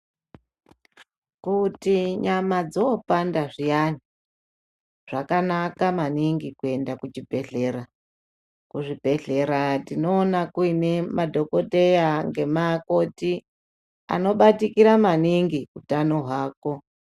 Kuti nyama dzoopanda zviyani zvakanaka maningi kuenda kuchibhedhlera kuzvibhedhlera tinoona kune madhokoteya ngemakoti anobatikira maningi utano hwako.